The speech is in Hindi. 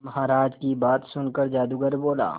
महाराज की बात सुनकर जादूगर बोला